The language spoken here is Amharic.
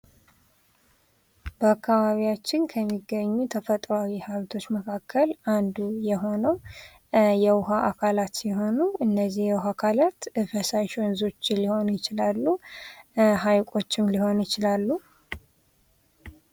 በአካባቢያችን ከሚገኙ ተፈጥሮኣዊ ሀብቶች መካከል አንዱ የሆነው የውሃ አካላት ሲሆኑ እነዚህ የውሃ አካላት ፈሳሽ ወንዞች ሊሆኑ ይችላሉ፤ ሀይቆችም ሊሆኑ ይችላሉ።